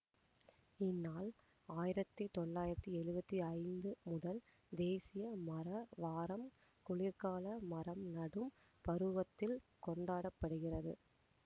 இந்நாள் ஆயிரத்தி தொள்ளாயிரத்தி எழுவத்தி ஐந்து முதல் தேசிய மர வாரம் குளிர்கால மரம் நடும் பருவத்தில் கொண்டாட படுகிறது